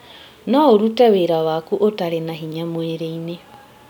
No ũrute wĩra waku ũtarĩ na hinya mwĩrĩ-inĩ